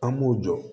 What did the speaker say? An b'u jɔ